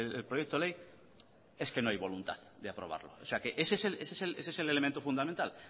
el proyecto ley es que no hay voluntad de aprobarlo o sea ese es el elemento fundamental